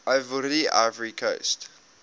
ivoire ivory coast